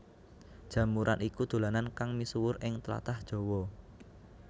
Jamuran iku dolanan kang misuwur ing tlatah Jawa